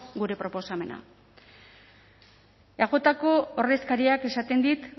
gure proposamena eajko ordezkariak esaten dit